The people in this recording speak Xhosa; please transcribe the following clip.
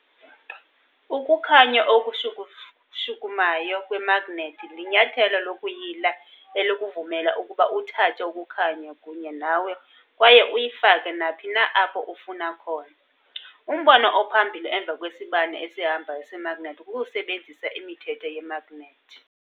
Ukukhanya okushukumayo kwemagnethi linyathelo lokuyila elikuvumela ukuba uthathe ukukhanya kunye nawe kwaye uyifake naphi na apho ufuna khona. Umbono ophambili emva kwesibane esihambayo semagnethi kukusebenzisa imithetho yemagnethi.